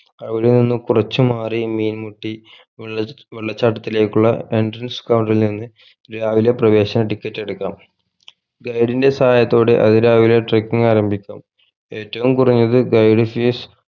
അവിടെ നിന്ന് കുറച്ചു മാറി മീൻമുട്ടി വെള്ള വെള്ളച്ചാട്ടത്തിലേക്കുള്ള entrance counter ഇൽ നിന്ന് രാവിലെ പ്രവേശന ticket എടുക്കാം guide ന്റെ സഹായത്തോടെ അതിരാവിലെ trucking ആരംഭിക്കാം ഏറ്റവും കുറഞ്ഞത് guide fees